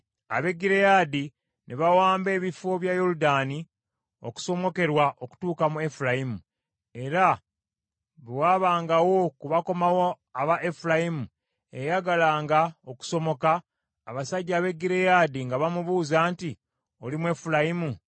Ab’e Gireyaadi ne bawamba ebifo bya Yoludaani okusomokerwa okutuuka mu Efulayimu, era bwe waabangawo ku bakomawo aba Efulayimu eyayagalanga okusomoka, abasajja ab’e Gireyaadi nga bamubuuza nti, “Oli Mwefulayimu?”